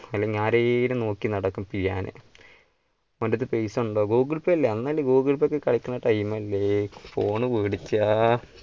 അല്ലേൽ ആരെങ്കിലും നോക്കി നടക്കും പിയാന് ഓന്റടുത്ത് പൈസ ഉണ്ടാവും google pay അല്ലേ google pay ഒക്കെ time അല്ലേ phone